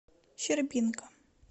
щербинка